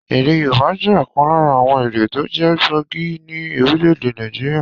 Èdè Yorùbá jẹ́ ọ̀kan lára àwon èdè tó jẹ́ gbòógì ní Orílèdè Nàìjíríà